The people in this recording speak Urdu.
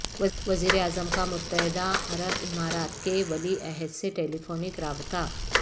وزیر اعظم کا متحدہ عرب امارات کے ولی عہد سے ٹیلیفونک رابطہ